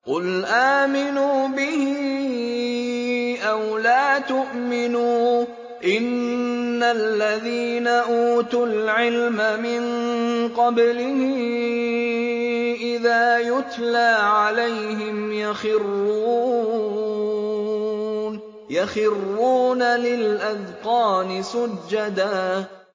قُلْ آمِنُوا بِهِ أَوْ لَا تُؤْمِنُوا ۚ إِنَّ الَّذِينَ أُوتُوا الْعِلْمَ مِن قَبْلِهِ إِذَا يُتْلَىٰ عَلَيْهِمْ يَخِرُّونَ لِلْأَذْقَانِ سُجَّدًا